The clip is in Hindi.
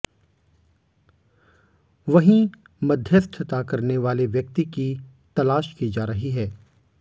वहीं मध्यस्थता करने वाले व्यक्ति की तलाश की जा रही है